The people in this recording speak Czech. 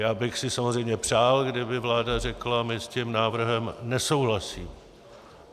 Já bych si samozřejmě přál, kdyby vláda řekla "my s tím návrhem nesouhlasíme".